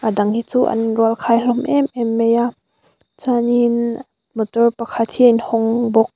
dang hi chu an in rual khai hlawm em em mai a chuanin motor pakhat hi a in hawng bawk.